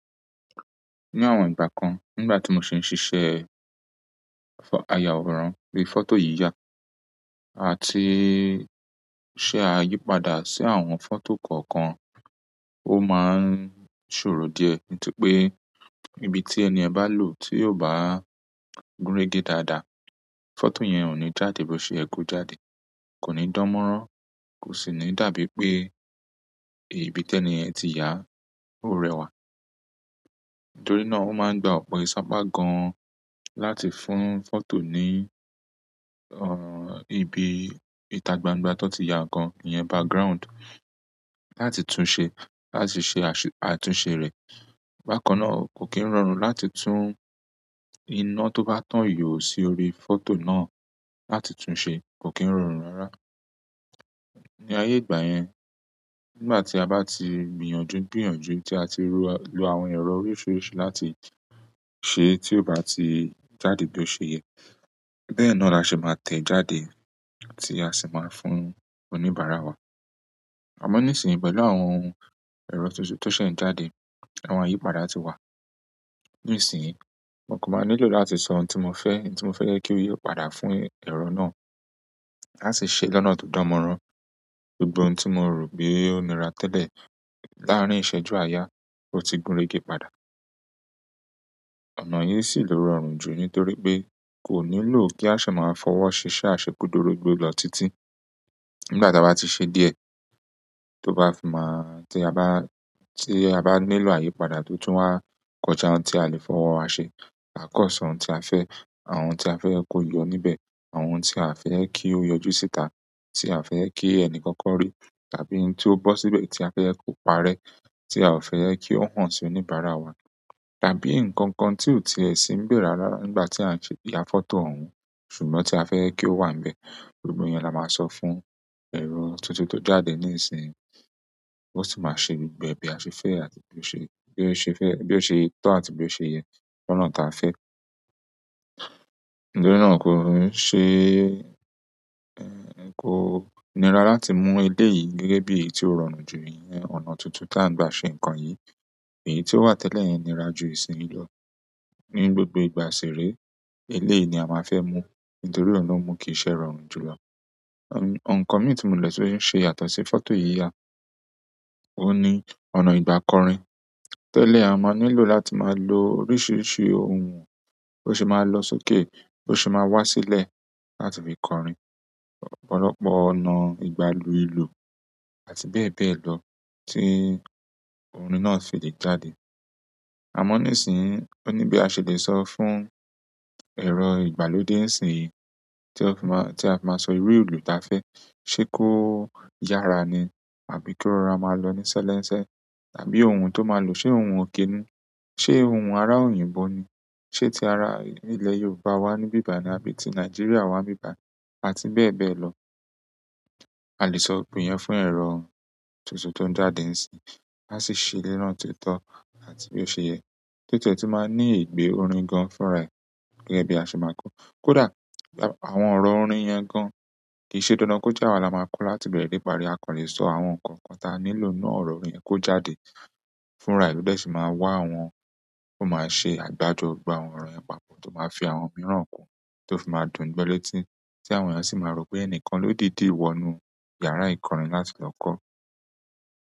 O ni àwọn ìgbà kan ngba ti mo si n sise fo-- ayaworan bi foto yiya àti se ayipada si àwọn foto kan kan ó máa ń ṣòro díẹ̀ nítorí pé ibi tí ẹniyẹn bá lò tí ò bá gúnrégé dáadáa, fọ́tò yẹn ò ní jáde bí ó ṣe yẹko jáde, kò ní dánmọ́rán, kò sì ní dàbí pé ìbí tẹ eniyẹn ti yà ó rẹwà. Torí náà ó máa ń gba ọ̀pọ̀ ìṣápá gan láti fún fọ́tò ní, ọ̀, ibi ìtagbangba tó ti ya nǹkan iyẹn background láti tún ṣe, láti ṣe asu-- àtúnṣe rẹ̀. Bakanna o ko ki n rọrùn láti tun ina to ba tan yóò si orí foto náà, láti tunse, ko ki n rọrùn rara. Ni ayé ìgbà yẹn, ngbà tí a bá ti gbìyànjú gbìyànjú tí a ti ro, lo àwọn ẹ̀rọ oríṣiríṣi láti ṣe tí ó bá ti jáde bí ó ṣe yẹ, bẹ́ẹ̀ náà la ṣe máa tẹ̀ jáde àti a sì máa fún oníbàárà wa. Amo nisinyi pẹ̀lú àwọn ohun ero to se, to se n jáde àwọn ayipada ti wa nísìnyí mo kò maa nílò láti sọ ohun tí mo fẹ́, n tí mo fẹ́ jẹ kí ó yí o padà fún ẹ̀rọ náà, a sì ṣe lọ́nà tó dánmọ́rán. Gbogbọ n tí mo rò pé ó nira tẹ́lẹ̀ láàárín ìṣẹ́jú àyà ó ti gúnrégé padà. Ọ̀nà yí sì ló rọrùn jù nítorí pé kò nílò kí a ṣe máa fọwọ́ ṣiṣẹ́ àṣekúdoró gbigbọ lo títí. Ngbà ta bá ti ṣe díẹ̀, tó bá fi máá tí a bá, tí a bá nílò àyípadà tó tún wá kọjá n tí a lè fọwọ́ wa ṣe, àkọsọ n tí a fẹ́, àwọn n tí a fẹ́ ẹ kó yọ níbẹ̀, àwọn n tí a fẹ́ kí ó yọjú síta tí a fẹ́ e kí ẹni kankan rí, tàbí n tí ó bọ́ síbẹ̀ tí a fẹ́ ẹ kó pa rẹ tí a ò fẹ́ ẹ kí ó hàn sí oníbàárà wa, tàbí nǹkan kan tí ò tiẹ̀ sí ń bẹ̀ rárá rara ngbà tí a n se-- ya fọ́tò òun, ṣùgbọ́n tí a fẹ́ ẹ kí ó wà nbẹ̀. Gbogbọ iyẹn la máa sọ fún ẹ̀rọ tuntun tó jáde ní ìsìnyi, ó sì máa ṣe gbogbo bí a ṣe fẹ́ àti bí ó ṣe, bí ó ṣe fẹ́, bí ó ṣe tọ́ àti bí ó ṣe yẹ lọ́nà ta fẹ́. Ntorí náà kò ń ṣe, ẹ́, kò nira láti mú eléyìí gẹ́gẹ́ bí èyí tí ó rọrùn jù iyẹn, ọ̀nà tuntun tà ń gbà ṣe ǹnkan yìí. Èyí tí ó wà tẹ́lẹ̀ yẹn nira jù ìsìn lọ. Ni gbogbo ìgbà ṣéré eléyii ni a máa fẹ́ mú nítorí ọ̀nà mú kì íṣe rọrùn jùlọ. Nǹkan mi tí mó le ṣe ń ṣe yàtọ̀sí fọ́tò yíya òhun ní ọ̀nà ìgbà kọrin. Tẹ́lẹ̀ a máa nílò láti máa lo oríṣiríṣi ohun bọ̀ se máa lọ sókè bó se máa wá sílẹ̀ láti fi kọrin. Ọ̀pọ̀lọpọ̀ ọ̀nà ìgbàlúù ìlú àti bẹ́ẹ̀ bẹ́ẹ̀ lọ tí ohun mi náà ṣi lè jáde. Àmọ́ nísìnyí ó ní bí a ṣe lè sọ fún ẹ̀rọ ìgbàlódé ìsìn yìí tí ó fi máa, tí a fi máa sọ iru ìlú ta fẹ́ ṣe kó yára ni àbí ki ó rọra máa lọ ní ṣẹ́lẹ́nsẹ́, àbí ohun tó máa lò ṣe ohun òkè ni, ṣe ohun ará òyìnbó ni, ṣe ti ara ilẹ̀ Yorùbá wà ní ibí bàyii àbí ti Nàìjíríà wà nbí bàyii àti bẹ́ẹ̀ bẹ́ẹ̀ lọ. A lè sọ òpin yẹn fún ẹ̀rọ tuntun tó ń jáde ísínyii a sì ṣé ni oná to to àti bí ó ṣe yẹ. O tie tun maa n ni igbe orin gan fúnra e, gẹ́gẹ́ bi ase maa ko, kódà àwọn ọ̀rọ̀ orin yẹn gan kì í ṣe dandan kó jẹ́ àwa la máa kọ láti ibẹ̀rẹ̀ dé ìparí. A kò lè sọ àwọn nǹkan kan ta nílò n nu ọ̀rọ̀ orin yẹn kó jáde fúnra e, lo dẹ́ sì máa wá àwọn, ó máa ṣe àgbájọ gbogbo àwọn ọ̀rọ̀ yẹ̀n papọ̀ tó máa fi àwọn mìíràn kùn tó fi máa dùn gbo lẹ́tí ti àwọn eeyan sì máa rò pé ẹni kan lódídì wọnú iyàrá ìkọrin láti lọ kọ́.